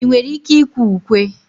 ị nwere ike ịkwe ukwe?